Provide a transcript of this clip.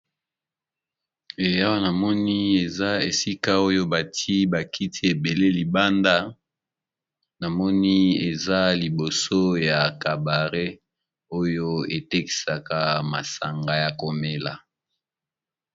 Awa namoni eza esika oyo batié ba kiti ébélé, libanda, eza na nganda, esika oyo batekisaka biloko ya komela